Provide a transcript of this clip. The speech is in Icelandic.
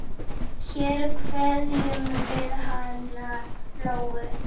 Hér kveðjum við hana Lóu.